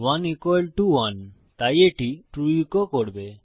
1 equal to 1 তাই এটি true এচো করবে